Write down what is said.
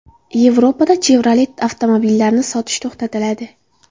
Yevropada Chevrolet avtomobillarini sotish to‘xtatiladi.